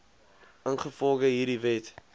ingevolge hierdie wet